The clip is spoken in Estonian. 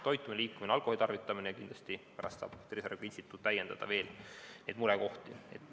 Toitumine, liikumine, alkoholitarvitamine – kindlasti saab Tervise Arengu Instituudi direktor pärast veel neid murekohti täiendada.